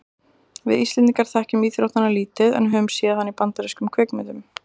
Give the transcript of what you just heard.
við íslendingar þekkjum íþróttina lítið en höfum séð hana í bandarískum kvikmyndum